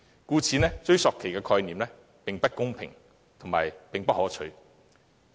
故此，追溯期的概念既不公平亦不可取。